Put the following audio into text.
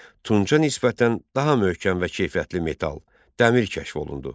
Tunca nisbətən daha möhkəm və keyfiyyətli metal – dəmir kəşf olundu.